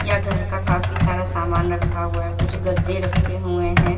यह घर का काफी सारा सामान रखा हुआ है कुछ गद्दे रखे हुए हैं।